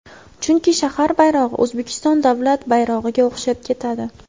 Chunki shahar bayrog‘i O‘zbekiston davlat bayrog‘iga o‘xshab ketadi.